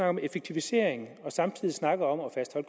om effektivisering og samtidig snakker om